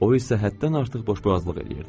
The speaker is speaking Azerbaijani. O isə həddən artıq boşboğazlıq eləyirdi.